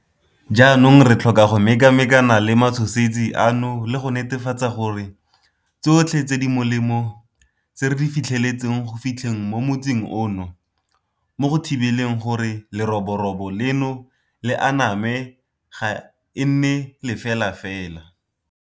Jaanong re tlhoka go mekamekana le matshosetsi ano le go netefatsa gore tsotlhe tse di molemo tse re di fitlheletseng go fitlheng mo motsing ono mo go thibeleng gore leroborobo leno le aname ga e nne lefelafela.